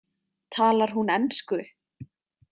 Talar hún ensku?